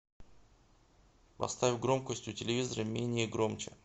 поставь громкость у телевизора менее громче